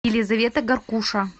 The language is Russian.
елизавета гаркуша